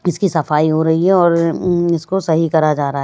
इसकी सफाई हो रही है और उम्म इसको सही करा जा रहा--